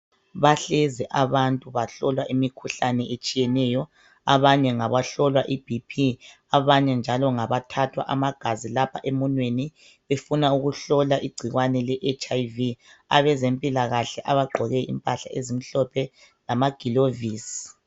Bahlezi abantu bahlolwa imikhuhlane etshiyeneyo. Abanye ngabahlolwa iBP, abanye njalo ngabathathwa amagazi lapha emunweni befuna ukuhlola igcikwane le HIV. Abezempilakahle bagqoke impala ezimhlophe lamagilovisi.